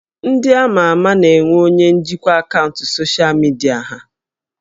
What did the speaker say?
Ndị ama ama na-enwe onye njikwa akaụntụ soshal midia ha